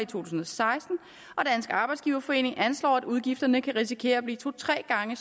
tusind og seksten og dansk arbejdsgiverforening anslår at udgifterne kan risikere at blive to tre gange